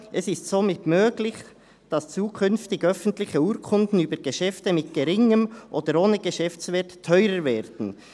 «Es ist somit möglich, dass zukünftig öffentliche Urkunden über Geschäfte mit geringem oder ohne Geschäftswert teurer werden.